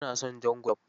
Ba na son jan gulob.